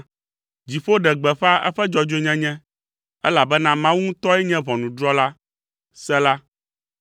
Dziƒo ɖe gbeƒã eƒe dzɔdzɔenyenye, elabena Mawu ŋutɔe nye ʋɔnudrɔ̃la. Sela